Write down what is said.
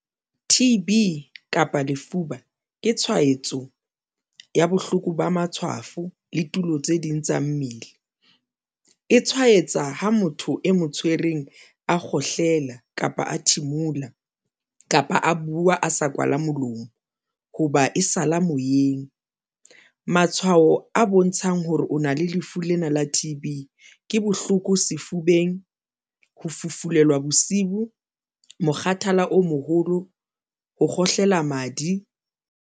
T_B kapa lefuba ke tshwaetso ya bohloko ba matshwafo le tulo tse ding tsa mmele e tshwaetsa ha motho e mo tshwereng a kgohlela kapa a thimula kapa a bua, a sa kwala molomo hoba e sala moyeng. Matshwao a bontshang hore o na le lefu lena la T_B ke bohloko sefubeng, ho fufulelwa bosiu, mokgathala o moholo ho kgohlela madi.